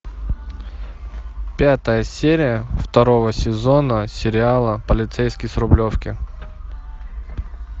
пятая серия второго сезона сериала полицейский с рублевки